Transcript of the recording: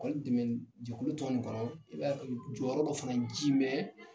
jɛkulu tɔ ninnu kɔnɔ i b'a ye jɔyɔrɔ dɔ fana ji mɛn.